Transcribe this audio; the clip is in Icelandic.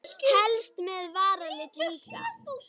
Helst með varalit líka.